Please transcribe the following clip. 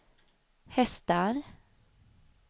hästar